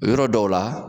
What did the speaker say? Yɔrɔ dɔw la